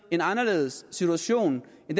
en anderledes situation